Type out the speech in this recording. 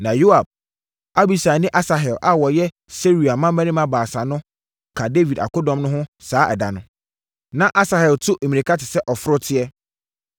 Na Yoab, Abisai ne Asahel a wɔyɛ Seruia mmammarima baasa no ka Dawid akodɔm no ho saa da no. Na Asahel tu mmirika te sɛ ɔforoteɛ,